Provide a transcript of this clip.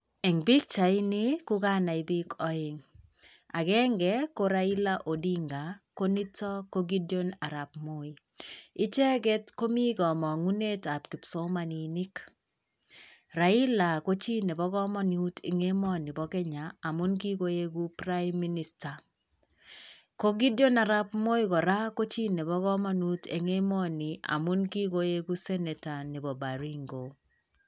Eng' pikchaitni ko kanai biik aeng'. Agenge ko Raila Odinga ko nito ko Gedion arap moi .Icheget komii kamang'unetab kipsomaninik. Raila ko chi nebo kamanut eng emoni bo kenya amuu ki koegu prime minister. Ko Gedion arap moi kora ko chi nebo kamanut eng emooni amuu kogoeku senator nebo baringo.